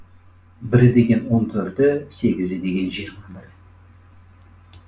бірі деген он төрті сегізі деген жиырма бірі